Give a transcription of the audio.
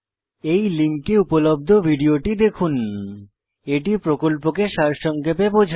এই লিঙ্কে উপলব্ধ ভিডিওটি দেখুন httpspoken tutorialorgWhat is a Spoken Tutorial এটি প্রকল্পকে সারসংক্ষেপে বোঝায়